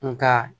Nga